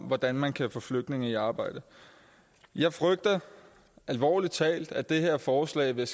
hvordan man kan få flygtninge i arbejde jeg frygter alvorlig talt at det her forslag vil